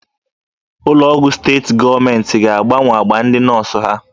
Ụlọ ọgwụ steetị gọọmenti ga-agbanwe agba ndị nọọsụ ha.